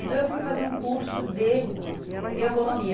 Então, eu fui fazer um curso de ergonomia.